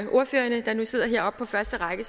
ordførerne der nu sidder heroppe på første række